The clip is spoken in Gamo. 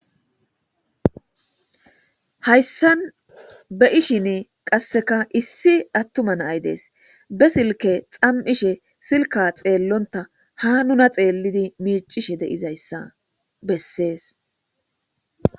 hayssan beishin qasseka issi attuma nay dees be silke xam7ishe silka xeellonta ha nuna xeellidi miicishe deizayssa bessees